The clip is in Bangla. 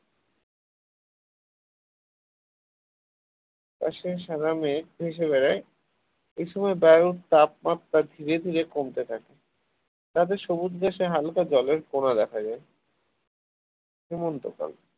আকাশে সাদা মেঘ ভেসে বেড়ায় এই সময় বায়ুর তাপমাত্রা ধীরে ধীরে কমতে থাকে তাদের সবুজ দেশে হালকা জলের কোনা দেখা যায় হেমন্তকাল